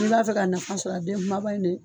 N'i b'a fɛ ka nafa sɔrɔ a den kumaba in ne